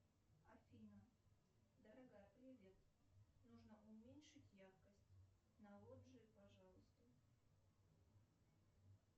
афина дорогая привет нужно уменьшить яркость на лоджии пожалуйста